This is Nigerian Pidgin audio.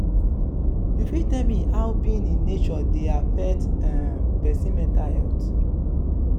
you fit tell me how being in nature dey affect um pesin mental health?